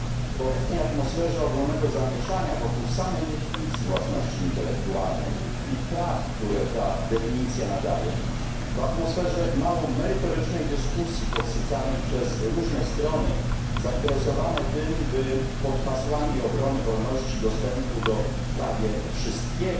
W obecnej atmosferze ogólnego zamieszania wokół samej definicji własności intelektualnej i praw, które ta definicja nadaje, w atmosferze mało merytorycznej dyskusji podsycanej przez różne strony zainteresowane tym, by pod hasłami obrony wolności dostępu do prawie wszystkiego,